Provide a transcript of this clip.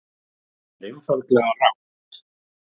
Það er einfaldlega rangt